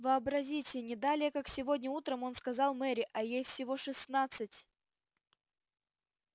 вообразите не далее как сегодня утром он сказал мэри а ей всего шестнадцать